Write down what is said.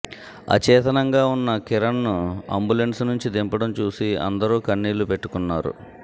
అచేతనంగా ఉన్న కిరణ్ను అంబులెన్సు నుంచి దింపడం చూసి అందరూ కన్నీళ్లు పెట్టుకున్నారు